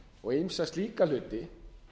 og ýmsa slíka hluti